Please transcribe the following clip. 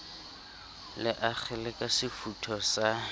le akgele ka sefutho sa